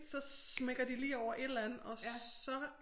Så smækker de lige over et eller andet og så